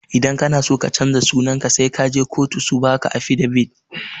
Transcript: Idan kana so ka canja sunanka sai kaje kotu su baka afidavit.